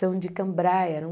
São de cambraia.